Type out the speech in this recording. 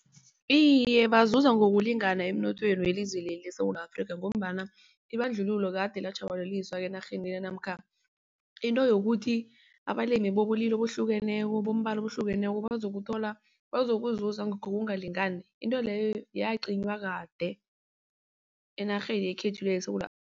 Iye, bazuza ngokulingana emnothweni welizweli leSewula Afrika ngombana ibandlululo kade latjhabalaliswa enarheni le namkha into yokuthi abalimi bobulili obuhlukeneko bombala obuhlukeneko bazokuthola bazokuzuza ngokungalingani into leyo yacinywa kade enarheni yekhethu yeSewula